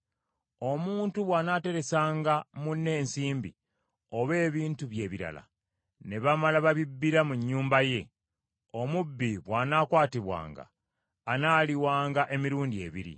“Omuntu bw’anaateresanga munne ensimbi oba ebintu bye ebirala, ne bamala babibbira mu nnyumba ye; omubbi bw’anaakwatibwanga anaaliwanga emirundi ebiri.